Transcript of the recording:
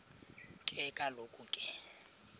ke kaloku ke